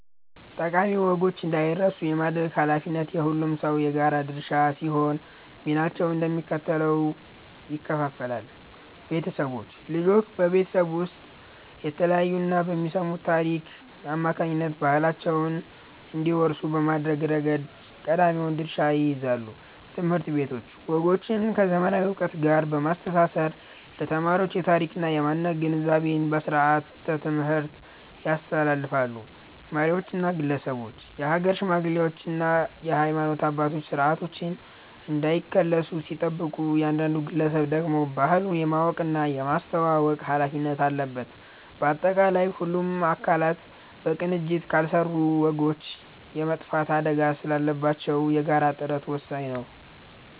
ጠቃሚ ወጎች እንዳይረሱ የማድረግ ኃላፊነት የሁሉም ሰው የጋራ ድርሻ ሲሆን፣ ሚናቸውም እንደሚከተለው ይከፈላል፦ ቤተሰቦች፦ ልጆች በቤት ውስጥ በሚያዩትና በሚሰሙት ታሪክ አማካኝነት ባህላቸውን እንዲወርሱ በማድረግ ረገድ ቀዳሚውን ድርሻ ይይዛሉ። ትምህርት ቤቶች፦ ወጎችን ከዘመናዊ ዕውቀት ጋር በማስተሳሰር ለተማሪዎች የታሪክና የማንነት ግንዛቤን በስርዓተ-ትምህርት ያስፋፋሉ። መሪዎችና ግለሰቦች፦ የሀገር ሽማግሌዎችና የሃይማኖት አባቶች ስርዓቶች እንዳይከለሱ ሲጠብቁ፣ እያንዳንዱ ግለሰብ ደግሞ ባህሉን የማወቅና የማስተዋወቅ ኃላፊነት አለበት። ባጠቃላይ፣ ሁሉም አካላት በቅንጅት ካልሰሩ ወጎች የመጥፋት አደጋ ስላለባቸው የጋራ ጥረት ወሳኝ ነው።